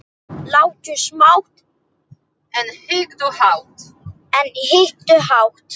Láttu smátt, en hyggðu hátt.